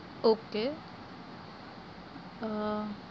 Okay અમ